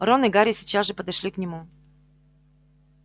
рон и гарри сейчас же подошли к нему